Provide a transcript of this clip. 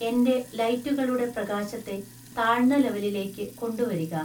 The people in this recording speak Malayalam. എന്‍റെ ലൈറ്റുകളുടെ പ്രകാശത്തെ താഴ്ന്ന ലെവെലിലേക്ക് കൊണ്ടുവരിക.